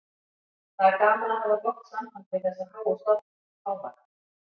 Það er gaman að hafa gott samband við þessa háu stofnun, Páfagarð.